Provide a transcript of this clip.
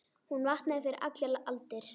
Hún vaknaði fyrir allar aldir.